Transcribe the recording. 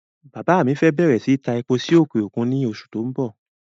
Bàbá mi fẹ́ bẹ̀rẹ̀ síí ta epo sí òkè òkun ní oṣù tó n bọ̀